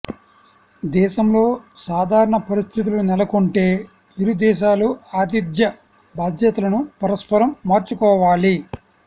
దేశంలో సాధారణ పరిస్థితులు నెలకొంటే ఇరు దేశాలూ ఆతిథ్య బాధ్యతలను పరస్పరం మార్చుకోవాలి